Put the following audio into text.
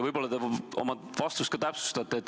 Võib-olla te oma vastust ka täpsustate.